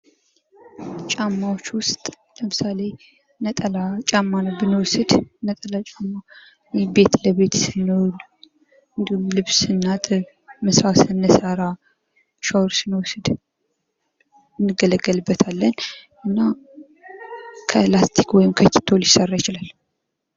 ጫማወች ውስጥ ለምሳሌ ነጠላ ጫማን ብንወስድ ነጠላ ጫማ ቤት ውስጥ ስንሆን እንዲሁም ልብስ ስናጥብ ምሳ ስንሰራ ሻወር ስንወስድ እንገለገልበታለን እና ከ ላስቲክ ወይም ከ ኪቶሊሰራ ይችላል ።